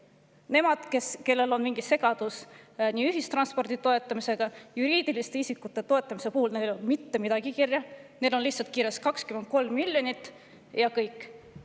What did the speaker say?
Nendel, kellel on mingi segadus ühistranspordi toetamisega, samuti juriidiliste isikute toetamisega, ei ole mitte midagi, neil on lihtsalt kirjas 23 miljonit, ja kõik.